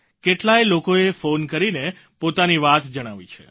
કેટલાય લોકોએ ફોન કરીને પોતાની વાત જણાવી છે